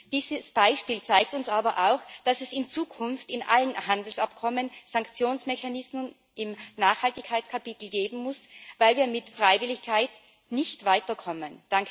Dieses Beispiel zeigt uns aber auch, dass es in Zukunft in allen Handelsabkommen Sanktionsmechanismen im Nachhaltigkeitskapitel geben muss, weil wir mit Freiwilligkeit nicht weiterkommen.